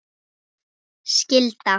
ljúf skylda.